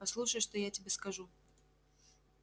послушай что я тебе скажу